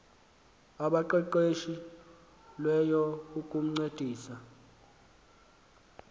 abaqeqeshe lweyo ukuncedisa